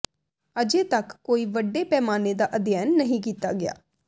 ਅਜੇ ਤੱਕ ਕੋਈ ਵੱਡੇ ਪੈਮਾਨੇ ਦਾ ਅਧਿਐਨ ਨਹੀਂ ਕੀਤਾ ਗਿਆ